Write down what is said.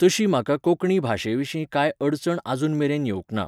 तशी म्हाका कोंकणी भाशेविशीं कांय अडचण आजून मेरेन येवंक ना.